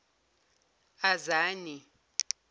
azani